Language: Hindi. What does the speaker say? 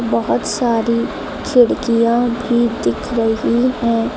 बहुत सारी खिड़कियां भी दिख रही हैं।